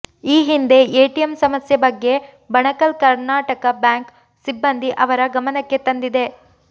ಈ ಹಿಂದೆ ಎಟಿಎಂ ಸಮಸ್ಯೆ ಬಗ್ಗೆ ಬಣಕಲ್ ಕರ್ಣಾಟಕ ಬ್ಯಾಂಕ್ ಸಿಬ್ಬಂದಿ ಅವರ ಗಮನಕ್ಕೆ ತಂದಿದೆ